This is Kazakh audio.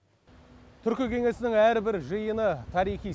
түркі кеңесінің әрбір жиыны тарихи